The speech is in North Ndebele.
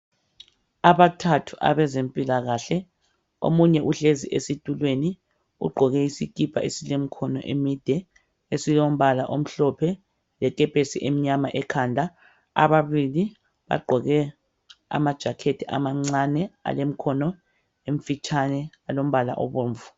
Abathathu abezempilakahle omunye uhlezi esitulweni ugqoke isikipa esilemkhono emide esilombala omhlophe lekepesi emnyama ekhanda. Ababili bagqoke ama"jacket" amancane alemkhono emfitshane alombala obomvu.